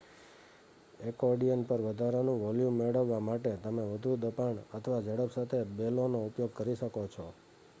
accordion પર વધારાનું volume મેળવવા માટે, તમે વધુ દબાણ અથવા ઝડપ સાથે બેલોનો ઉપયોગ કરો શકો છો